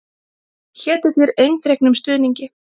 Hétu þér eindregnum stuðningi.